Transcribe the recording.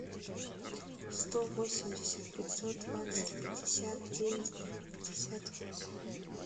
сто восемьдесят пятьсот двадцать пятьдесят девять пятьдесят восемь